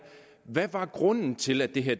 hvad var grunden til at det her